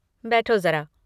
बैठो ज़रा।